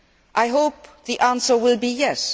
I hope the answer will be yes.